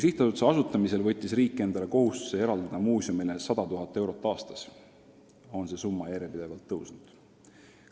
" Sihtasutuse asutamisel võttis riik endale kohustuse eraldada muuseumile 100 000 eurot aastas ja see summa on järjepidevalt kasvanud.